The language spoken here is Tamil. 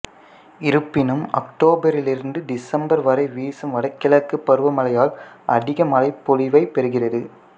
இருப்பினும் அக்டோபரிலிருந்து திசம்பர் வரை வீசும் வடகிழக்கு பருவமழையால் அதிக மழைப்பொழிவைப் பெறுகிறது